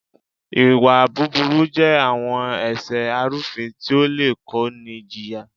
Ìwà búburú je àwọn ẹ̀ṣẹ arúfin tí ó le kó ni jìyà.